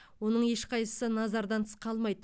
оның ешқайсысы назардан тыс қалмайды